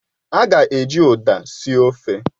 A ga-eji Uda sie ofe